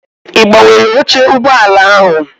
I gbanwere oche ụgbọala ahụ?